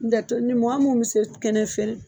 N tɛ mɔgɔ minnu bɛ se kɛnɛ fiyɛ